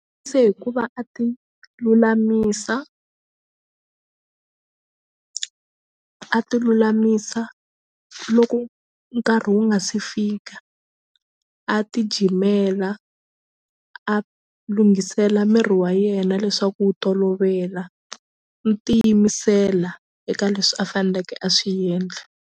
Se hikuva a ti lulamisa a ti lulamisa loko nkarhi wu nga se fika a ti jimela a lunghisela miri wa yena leswaku wu tolovela no tiyimisela eka leswi a faneleke a swi endla.